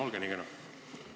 Olge nii kena!